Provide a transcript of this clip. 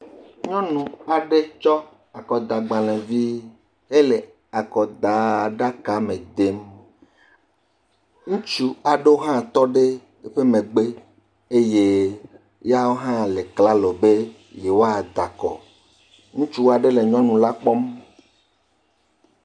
Nyɔnu aɖe tsɔ akɔdagbalẽvi hele akɔdaaa ɖakame dem. Ŋutsu aɖewo hã tɔ ɖe woƒe megbe eye yawo hã le klalo be yewoada akɔ. Ŋutsu aɖe le nyɔnula kpɔm.